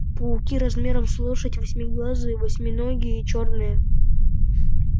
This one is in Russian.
пауки размером с лошадь восьмиглазые восьминогие чёрные